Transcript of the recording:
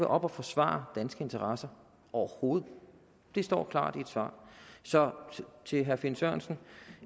oppe og forsvare danske interesser overhovedet det står klart i et svar så til herre finn sørensen